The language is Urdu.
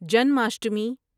جنماشٹمی